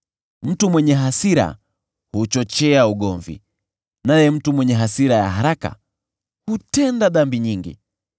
Mtu mwenye hasira huchochea ugomvi, naye mtu mwenye hasira ya haraka hutenda dhambi nyingi.